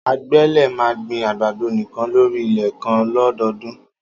Ágbẹ̀ lé mà gbin àgbàdó nikàn lóri ilẹ̀ kàn lọ̀dọdún